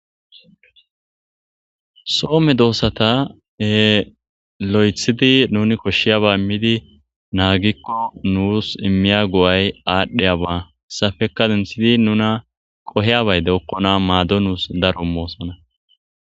So medoossata e lo7ethidi nuni koshshiyaba immidi naagikko nuus immiya go7ay aadhdheyaba hessafeka sinthidi nuna qoheyabayde okkona maado nuus daro moosona.